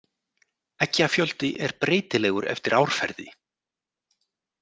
Eggjafjöldi er breytilegur eftir árferði.